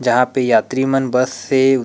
जहाँ पे यात्री मन बस से--